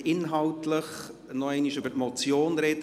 Bitte inhaltlich noch einmal über die Motion sprechen!